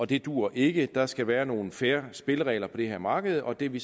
det duer ikke der skal være nogle fair spilleregler på det her marked og det er vi